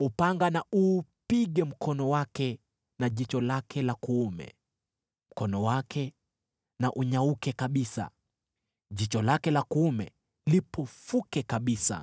Upanga na uupige mkono wake na jicho lake la kuume! Mkono wake na unyauke kabisa, jicho lake la kuume lipofuke kabisa!”